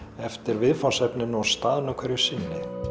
eftir viðfangsefninu og staðnum hverju sinni